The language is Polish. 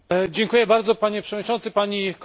Panie przewodniczący, pani komisarz!